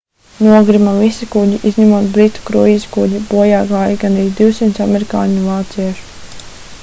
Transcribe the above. nogrima visi kuģi izņemot britu kruīza kuģi bojā gāja gandrīz 200 amerikāņu un vāciešu